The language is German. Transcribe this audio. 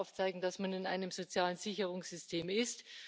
Da muss man aufzeigen, dass man in einem sozialen Sicherungssystem ist.